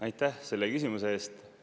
Aitäh selle küsimuse eest!